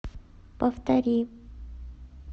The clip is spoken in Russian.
повтори